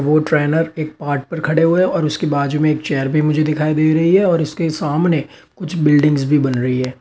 वो ट्रेनर एक पार्ट पर खड़े हुए हैं और उसके बाजू में एक चेयर भी मुझे दिखाई दे रही है और उसके सामने कुछ बिल्डिंग्स भी बन रही है।